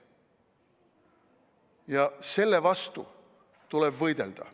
Ja selle vastu tuleb võidelda.